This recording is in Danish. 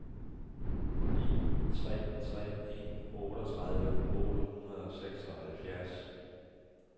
en tre tre en otteogtredive otte hundrede og seksoghalvfjerds